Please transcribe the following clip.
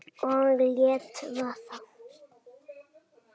Og lét vaða.